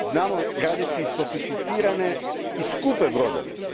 Znamo graditi sofisticirane i skupe brodove.